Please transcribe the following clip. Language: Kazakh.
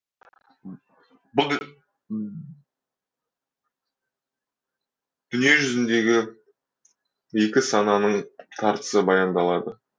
дүниежүзіндегі екі сананың тартысы баяндалады